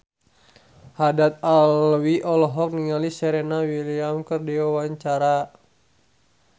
Haddad Alwi olohok ningali Serena Williams keur diwawancara